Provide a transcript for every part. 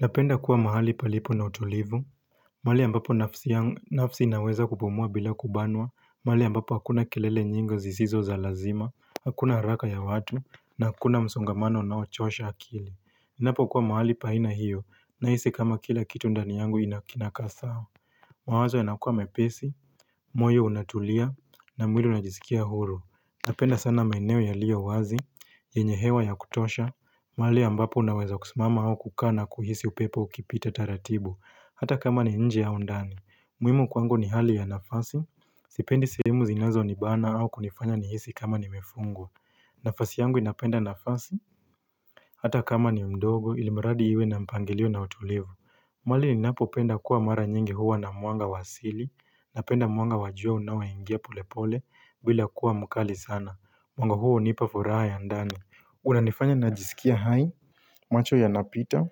Napenda kuwa mahali palipo na utulivu mali ambapo nafsi inaweza kupumua bila kubanwa mahali ambapo hakuna kelele nyingi zisizo za lazima Hakuna haraka ya watu Nakuna msongamano unaochosha akili Inapokuwa mahali pahina hiyo Nahisi kama kila kitu ndani yangu inakinakasa mawazo yanakua mepesi moyo unatulia na mwili unajisikia huru Napenda sana maeneo yalio wazi yenye hewa ya kutosha mali ambapo unaweza kusimama hao kukana na kuhisi upepo ukipita taratibu Hata kama ni nje au ndani muhimu kwangu ni hali ya nafasi Sipendi sehemu zinazo ni bana au kunifanya ni hisi kama nimefungwa nafasi yangu inapenda nafasi Hata kama ni mdogo ilimuradi iwe na mpangilio na utulivu Mwali ninapo penda kuwa mara nyingi huwa na mwanga wasili Napenda mwanga wajua unawa ingia pole pole bila kuwa mukali sana Mwanga huo unipa furaa ya ndani unanifanya najisikia hai macho yanapita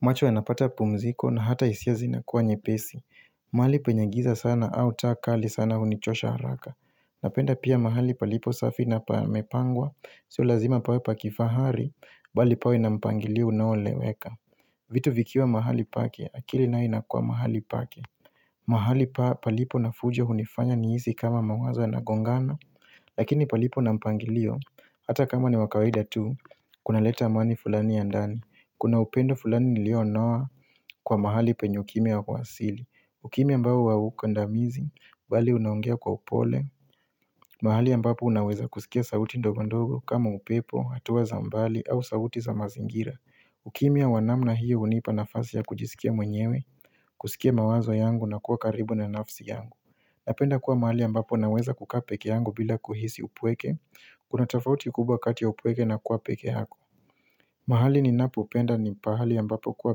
macho yanapata pumziko na hata isia zinakuwa nyepesi Mahalipo penye giza sana au ta kali sana unichosha haraka Napenda pia mahalipo palipo safi na pamepangwa Sio lazima pawe pakifahari Bali pawe na mpangilio unaoleweka vitu vikiwa mahali pake akili na inakua mahali pake Mahalipo palipo na fujo unifanya niisi kama mawaza yanagongana Lakini palipo na mpangilio Hata kama ni wakaweda tu kunaleta amani fulani ya ndani Kuna upendo fulani nilio noa kwa mahali penye ukimi ya kwasili. Ukimia ambao haukandamizi, bali unanogea kwa upole. Mahali ambapo unaweza kusikia sauti ndogondogo kama upepo, hatuwa za mbali au sauti za mazingira. Ukimiya wanamna hiyo unipa nafasi ya kujisikia mwenyewe, kusikia mawazo yangu na kuwa karibu na nafsi yangu. Napenda kuwa mahali ambapo unaweza kuka peke yangu bila kuhisi upweke. Kuna tafauti kubwa kati upweke na kuwa peke hako. Mahali ni napupenda ni pahali ya mbapo kuwa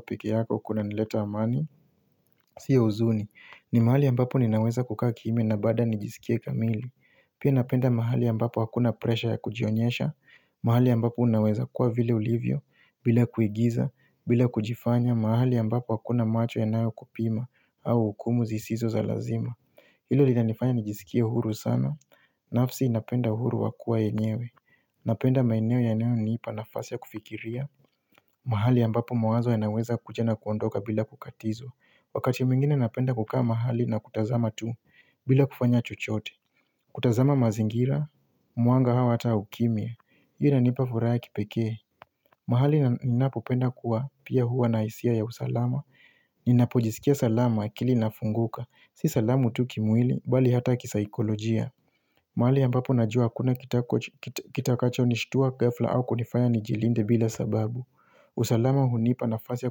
peke yako kuna nileta amani, siya uzuni, ni mahali ya mbapo ninaweza kukaa kimia na bado nijisikia kamili. Pia napenda mahali ya ambapo akuna presha ya kujionyesha, mahali ya ambapo unaweza kuwa vile ulivyo, bila kuigiza, bila kujifanya, mahali ya mbapo akuna macho yanayo kupima au ukumu zisizo za lazima. Ilo linanifanya nijisikia huru sana, nafsi inapenda huru wakua enyewe Napenda maeneo yanayo niipa nafasi ya kufikiria mahali ambapo mawazo yanaweza kujana kuondoka bila kukatizo Wakati mingine napenda kukaa mahali na kutazama tu bila kufanya chochote kutazama mazingira, muanga hawa hata hukimia Iyo na nipa furaya kipeke mahali na inapo penda kuwa, pia huwa na isia ya usalama Ninapo jisikia salama akili inafunguka Si salamu tuki mwili, bali hata kisaikolojia mahali yambapo najua akuna kitakacho nishtuwa gafla au kunifanya nijilinde bila sababu usalama hunipa nafazia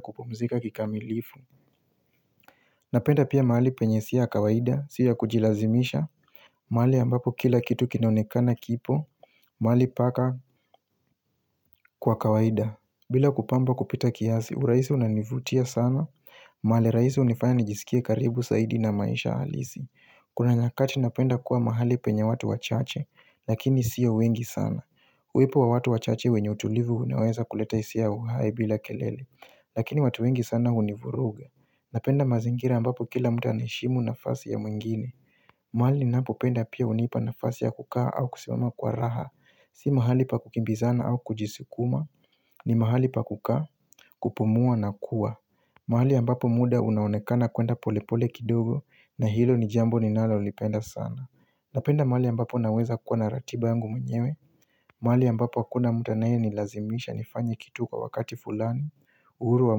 kupumzika kikamilifu Napenda pia mali penye isia ya kawaida, siya kujilazimisha mahali yambapo kila kitu kinaonekana kipo, mali paka kwa kawaida bila kupamba kupita kiasi, uraisi unanivutia sana mahali raisi unifanya nijisikie karibu saidi na maisha halisi Kuna nyakati napenda kuwa mahali penya watu wachache Lakini siyo wengi sana Huipo wa watu wachache wenye utulivu uneweza kuleta isi ya uhai bila kelele Lakini watu wengi sana univuruga Napenda mazingira ambapo kila mtu naishimu nafasi ya mwingine mahali ninapo penda pia unipa na fasi ya kukaa au kusemama kwa raha Si mahali pa kukimbizana au kujisukuma ni mahali pa kukaa, kupumua na kuwa mahali ambapo muda unaonekana kuenda polepole kidogo na hilo ni jambo ninalo lipenda sana Napenda mahali ambapo naweza kuwa naratiba yangu mwenyewe mahali ambapo akuna mtu anaye nilazimisha nifanye kitu kwa wakati fulani uhuru wa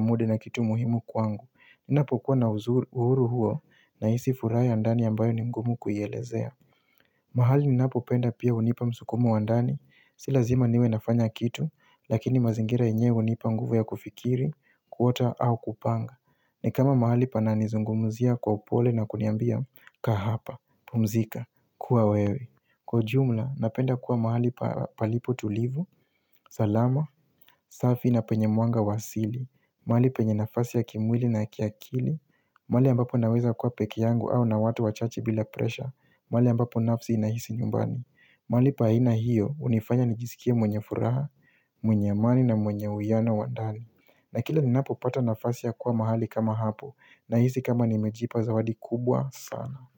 muda na kitu muhimu kwangu Ninapo kuwa na uhuru huo naisi furai ya ndani ambayo ni mgumu kuhielezea mahali ninapo penda pia unipa msukumu andani Silazima niwe nafanya kitu Lakini mazingira yenyewe unipa nguvu ya kufikiri, kuota au kupanga ni kama mahali panani zungumuzia kwa upole na kuniambia ka hapa, pumzika, kuwa wewe Kwa jumla, napenda kuwa mahali palipo tulivu, salama, safi na penye mwanga wasili mahali penye nafasi ya kimwili na kiakili mahali ambapo naweza kuwa peke yangu au na watu wachache bila presha mahali ambapo nafsi inahisi nyumbani mahali pa haina hiyo, unifanya nijisikie mwenye furaha, mwenye amani na mwenye uyano wandani na kila ninapopata nafasi ya kuwa mahali kama hapo na hizi kama nimejipa zawadi kubwa sana.